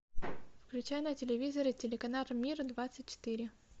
включай на телевизоре телеканал мир двадцать четыре